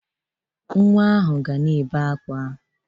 Nwa ahụ ga na-ebe akwa.